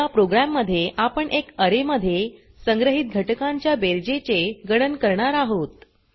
या प्रोग्राम मध्ये आपण एक अरे मध्ये संग्रहित घटकांच्या बेरजेचे गणन करणार आहोत